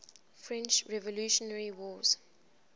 french revolutionary wars